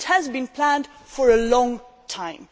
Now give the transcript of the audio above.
It has been planned for a long time.